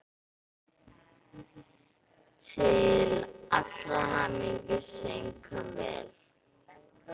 Til allrar hamingju söng hann vel!